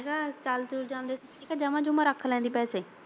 ਮੈਂ ਕਿਹਾ ਚੱਲ ਚੁੱਲ ਜਾਂਦੇ ਮੈਂ ਕਿਹਾ ਜਮਾਂ ਜੁੰਮਾ ਰੱਖ ਲੈਂਦੇ ਪੈਸੇ।